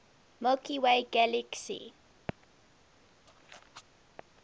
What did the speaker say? milky way galaxy